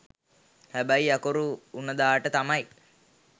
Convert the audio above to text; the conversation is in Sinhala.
හැබැයි අකුරු උනදාට තමයි